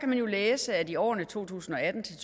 man jo læse at i årene to tusind og atten til